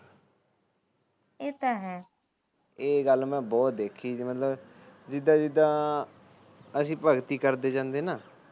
ਇਹ ਗੱਲ ਮੈ ਬਹੁਤ ਦੇਖੀ ਜਿਦਾ ਜਿਦਾ ਅਸੀ ਭਗਤੀ ਕਰਦੇ ਜਾਂਦੇ ਆ ਨਾ